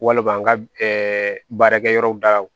Walima n ka baarakɛ yɔrɔ daw